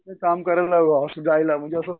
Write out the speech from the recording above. काम करायला असं जायला म्हणजे असं